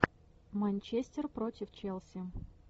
манчестер против челси